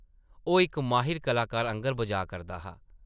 ओह् इक माहिर कलाकार आंगर बजाऽ करदा हा ।